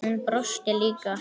Hún brosti líka.